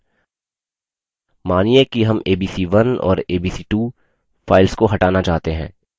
मानिये कि हम abc1 और abc2 files को हटाना चाहते हैं